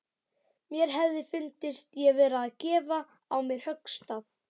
Mér hefði fundist ég vera að gefa á mér höggstað.